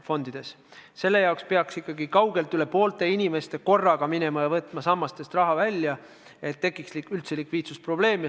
Selle tekkimiseks peaks ikkagi kaugelt üle poolte inimestest korraga minema ja sammastest raha välja võtma.